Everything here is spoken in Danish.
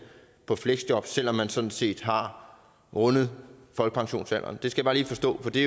på fleksjob selv om man sådan set har rundet folkepensionsalderen jeg skal bare lige forstå det for det